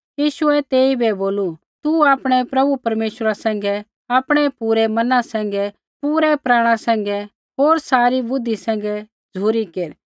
यीशुऐ तेइबै बोलू तू आपणै प्रभु परमेश्वरा सैंघै आपणै पूरै मना सैंघै पूरै प्राण सैंघै होर सारी बुद्धि सैंघै झ़ुरी केर